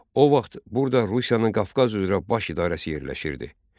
O vaxt burada Rusiyanın Qafqaz üzrə Baş İdarəsi yerləşirdi.